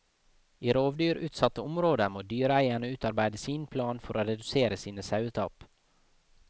I rovdyrutsatte områder må dyreeieren utarbeide sin plan for å redusere sine sauetap.